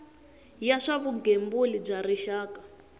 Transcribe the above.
ya swa vugembuli bya rixaka